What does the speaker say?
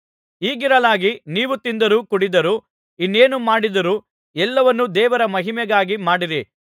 ಹೀಗಿರಲಾಗಿ ನೀವು ತಿಂದರೂ ಕುಡಿದರೂ ಇನ್ನೇನು ಮಾಡಿದರೂ ಎಲ್ಲವನ್ನೂ ದೇವರ ಮಹಿಮೆಗಾಗಿ ಮಾಡಿರಿ